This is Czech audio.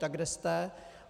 Tak kde jste?